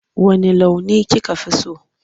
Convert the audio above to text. Wanne launi kika fi so?